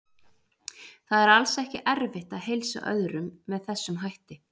Það er alls ekki erfitt að heilsa öðrum með þessum hætti.